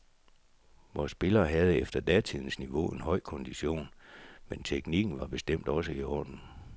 Vore spillere havde efter datidens niveau en høj kondition, men teknikken var bestemt også i orden.